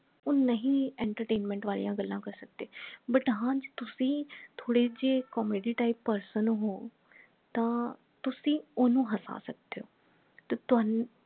ਉਹ ਨਹੀਂ entertainment ਵਾਲਿਆਂ ਗੱਲਾਂ ਕਰ ਸਕਦੇ but ਹਾਂ ਜੇ ਤੁਸੀ ਥੋੜੇ ਜੇ comedy type person ਹੋ ਤਾਂ ਤੁਸੀ ਓਹਨੂੰ ਹਸਾ ਸਕਦੇ ਹੋ ਤਾਂ ਤੁਹਾਨੂੰ